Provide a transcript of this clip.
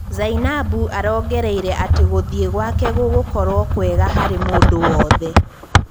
Zainabu arongereire atĩ gũthiĩ gwake gũgũkorwo kũega harĩ mũndũ wothe.